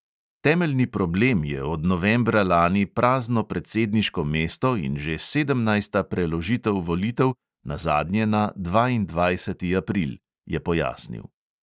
"Temeljni problem je od novembra lani prazno predsedniško mesto in že sedemnajsta preložitev volitev, nazadnje na dvaindvajseti april," je pojasnil.